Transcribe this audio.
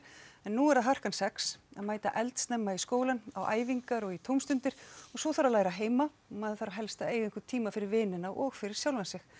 en nú er það harkan sex að mæta eldsnemma í skólann á æfingar og í tómstundir svo þarf að læra heima maður þarf að helst eiga einhvern tíma fyrir vinina og fyrir sjálfan sig